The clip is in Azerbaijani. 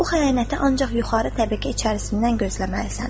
Bu xəyanəti ancaq yuxarı təbəqə içərisindən gözləməlisən.